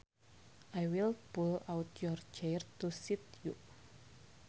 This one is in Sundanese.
I will pull out your chair to seat you